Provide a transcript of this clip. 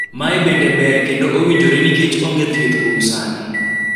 mae bende ber kendo owinjore nikech onge thieth kuom sani